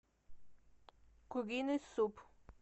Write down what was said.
куриный суп